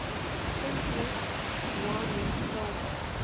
kunsmis ghwano kraalmis